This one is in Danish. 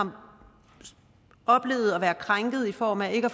oplevet at være krænket i form af ikke at